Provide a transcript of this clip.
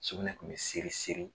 Sugunɛ tun bɛ seri seri.